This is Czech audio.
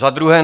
Za druhé.